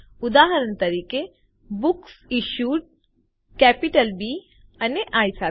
ઉદાહરણ તરીકે બુકસિશ્યુડ કેપિટલ બી અને આઇ સાથે